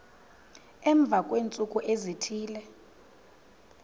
emva kweentsuku ezithile